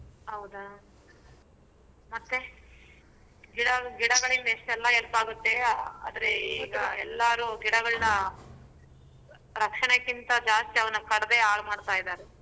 ಹೌದಾ ಮತ್ತೆ ಗಿಡ ಗಿಡಗಳಿಂದ ಎಷ್ಟೆಲ್ಲ help ಆಗತ್ತೆ ಆದ್ರೆ ಈಗಾ ಎಲ್ಲಾರು ಗಿಡಗಳನ್ನ ರಕ್ಷಣೆಕ್ಕಿಂತ ಜಾಸ್ತಿ ಅವನ್ನ ಕಡ್ದೇ ಹಾಳ್ ಮಾಡ್ತಾ ಇದ್ದಾರೆ.